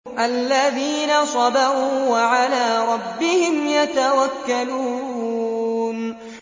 الَّذِينَ صَبَرُوا وَعَلَىٰ رَبِّهِمْ يَتَوَكَّلُونَ